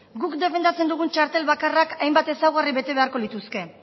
guk defendatzen dugun txartel bakarrak hainbat ezaugarri bete beharko lituzke